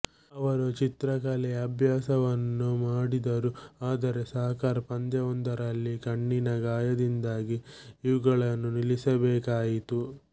ಅವರು ಚಿತ್ರಕಲೆ ಅಭ್ಯಾಸವನ್ನೂ ಮಾಡಿದರು ಆದರೆ ಸಾಕರ್ ಪಂದ್ಯವೊಂದರಲ್ಲಿ ಕಣ್ಣಿನ ಗಾಯದಿಂದಾಗಿ ಇವುಗಳನ್ನು ನಿಲ್ಲಿಸಬೇಕಾಯಿತು